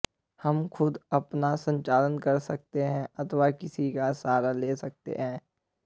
हम खुद अपना संचालन कर सकते हैं अथवा किसी का सहारा ले सकते हैं